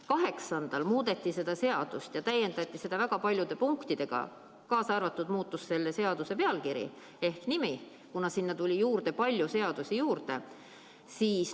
8. aprillil muudeti seda eelnõu ja täiendati seda väga paljude punktidega, ka muutus selle seaduse pealkiri, kuna sinna tuli mitme seaduse muutmine juurde.